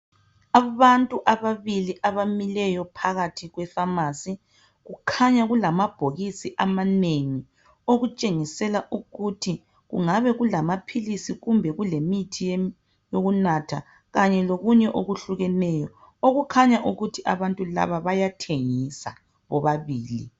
Abantu ababili abamileyo phakathi kwe phamarcy kukhanya kulamabhokisi amanengi okutshengisela ukuthi kungabe kulamaphilisi kumbe kulemithi yokunatha Kanye lokunye okuhlukeneyo okukhanya ukuthi abantu laba bayathengisa bobabili